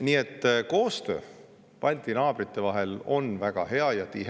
Nii et koostöö Balti naabrite vahel on väga hea ja tihe.